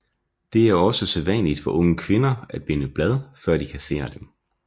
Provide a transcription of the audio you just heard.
Det er også sædvanligt for unge kvinder at binde blad før de kasserer dem